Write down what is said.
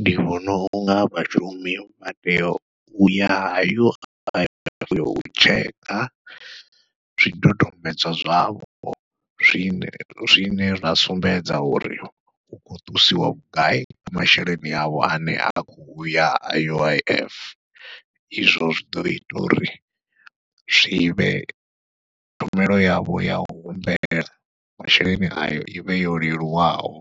Ndi vhona unga vhashumi vha tea uya U_I_F u tshekha zwidodombedzwa zwavho zwine zwine zwa sumbedza uri hu khou ṱusiwa vhugai masheleni avho ane a khou ya U_I_F, izwo zwi ḓo ita uri zwivhe tshumelo yavho yau humbela masheleni ayo ivhe yo leluwaho